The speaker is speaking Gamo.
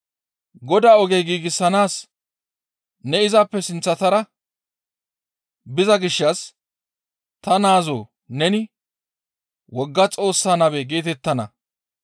Godaa oge giigsanaas ne izappe sinththara biza gishshas ta naazoo neni wogga Xoossaa nabe geetettana.